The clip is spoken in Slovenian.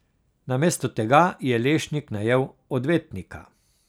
Namesto tega je Lešnik najel odvetnika.